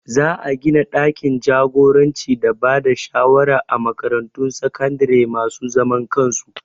Za a gina ɗakin jagoranci da bada shawara a makaratun sakandare masu zaman kansu